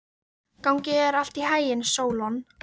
Gangi þér allt í haginn, Sólon.